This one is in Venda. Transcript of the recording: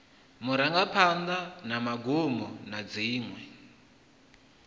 marangaphanḓa na magumo na dziṅwe